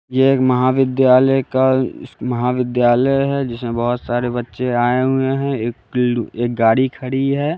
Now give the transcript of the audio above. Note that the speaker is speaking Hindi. ये एक महाविद्यालय का महाविद्यालय है जिसमें बहोत सारे बच्चे आए हुए है एक गाड़ी खड़ी है।